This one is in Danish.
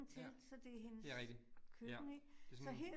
Ja, det rigtigt, ja. Det sådan